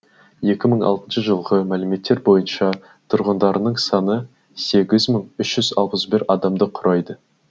екі мың алтыншы жылғы мәліметтер бойынша тұрғындарының саны сегіз мың үш жүз алпыс бір адамды құрайды